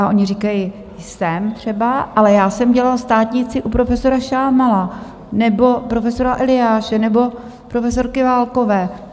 A oni říkají: Jsem, třeba, ale já jsem dělal státnici u profesora Šámala nebo profesora Eliáše nebo profesorky Válkové.